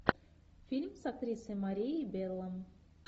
фильм с актрисой марией белло